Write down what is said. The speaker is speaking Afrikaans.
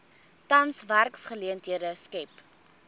tans werksgeleenthede skep